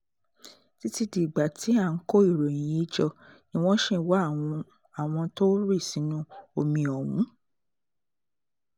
títí dìgbà tá à ń kó ìròyìn yìí jọ ni wọ́n ṣì ń wá àwọn tó rì sínú omi ọ̀hún